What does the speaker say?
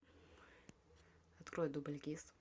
открой дубль гис